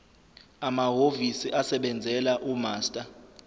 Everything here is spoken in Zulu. amahhovisi asebenzela umaster